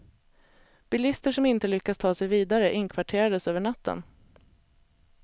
Bilister som inte lyckats ta sig vidare, inkvarterades över natten.